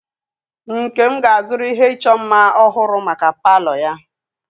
Nkem ga-azụrụ ihe ịchọ mma ọhụrụ maka palo ya.